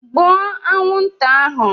Gbụo anwụnta ahụ!